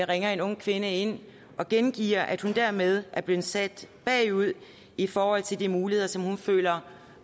ringer en ung kvinde ind og gengiver at hun dermed er blevet sat bagud i forhold til de muligheder som hun føler